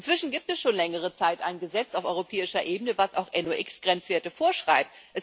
Inzwischen gibt es schon längere Zeit ein Gesetz auf europäischer Ebene, das auch NOx Grenzwerte vorschreibt.